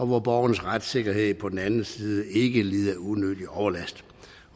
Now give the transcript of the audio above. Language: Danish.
hvor borgernes retssikkerhed på den anden side ikke lider unødig overlast